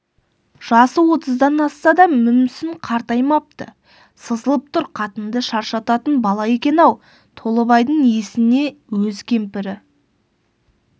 жасы отыздан асса да мүмсін қартаймапты сызылып тұр қатынды шаршататын бала екен-ау толыбайдың есіне өз кемпірі